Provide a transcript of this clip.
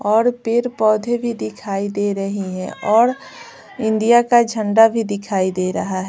और पेर पौधे भी दिखाई दे रहे हैं और इंडिया का झंडा भी दिखाई दे रहा है।